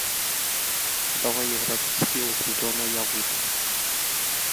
давай играть в скилл зеленая выдра